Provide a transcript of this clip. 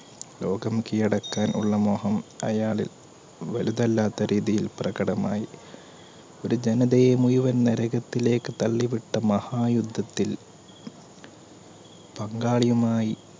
ലോകം കീഴടക്കാൻ ഉള്ള മോഹം അയാളിൽ വലുതല്ലാത്ത രീതിയിൽ പ്രകടമായി ഒരു ജനയതയെ മുയുവൻ നരകത്തിലേക്ക് തള്ളിവട്ട മഹായുദ്ധത്തിൽ പങ്കാളിയുമായി